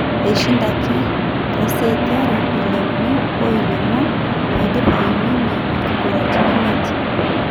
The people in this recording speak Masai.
Eishindaki to seti are 6-3 ile uni o ile onguan 6-4 peidip aiminie nkigularitin imiet.